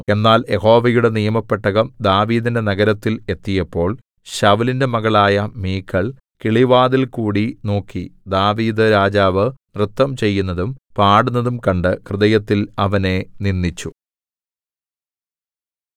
എന്നാൽ യഹോവയുടെ നിയമപെട്ടകം ദാവീദിന്റെ നഗരത്തിൽ എത്തിയപ്പോൾ ശൌലിന്റെ മകളായ മീഖൾ കിളിവാതിലിൽകൂടി നോക്കി ദാവീദ്‌ രാജാവ് നൃത്തം ചെയ്യുന്നതും പാടുന്നതും കണ്ടു ഹൃദയത്തിൽ അവനെ നിന്ദിച്ചു